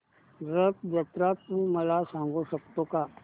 रथ जत्रा तू मला सांगू शकतो का